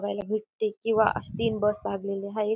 बघायला भेटते किंवा असे तीन बस लागलेल्या हाय.